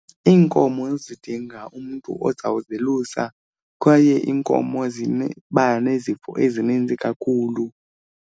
Iinkomo zidinga umntu ozawuzelusa kwaye iinkomo nezifo ezininzi kakhulu.